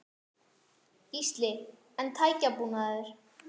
Gísli: En tækjabúnaður?